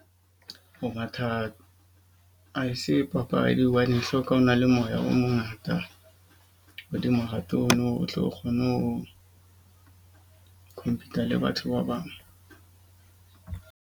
Ho matha ha se papadi. Hobane e hloka o na le moya o mongata hodimo ha o tlo kgone ho compete-a le batho ba bang.